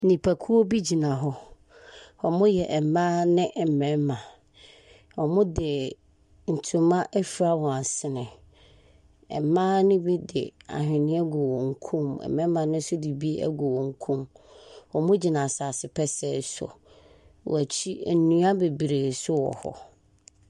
Nnipakuo bi gyina hɔ. Wɔyɛ mmaa ne mmarima. Wɔde ntoma afura wɔn asene. Mmaa no bi de ahweneɛ agu wɔn kɔn mu, mmarima no nso de bi agu wɔn kɔn mu. Wɔgyina asase pɛsɛɛ so. Wɔn akyi nnua bebiree nso wɔ hɔ.